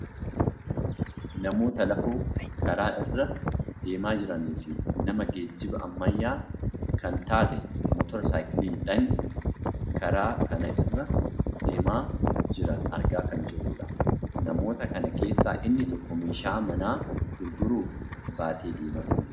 namoota lafoo karaa irra deemaa jiranii fi nama geejjiba ammayyaa kan taate motor saayikiiliidhaan karaa kana irra deemaa jiran argaa kan jirrudha. namoota kana keessaa inni tokko beeshaa manaa gurguruuf baatee deemaa kan jirudha.